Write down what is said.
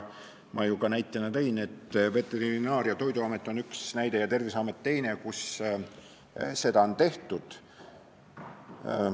Ma ju ka tõin näiteks Veterinaar- ja Toiduameti ning Terviseameti, kus seda on tehtud.